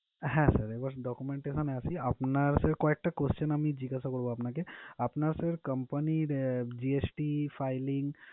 হ্যাঁ sir এবার document এর এখানে আসি আপনার sir কয়েকটা questions আমি জিজ্ঞাসা করবো, আমি আপনাকে আপনার sir company's GST filing